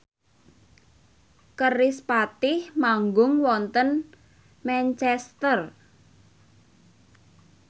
kerispatih manggung wonten Manchester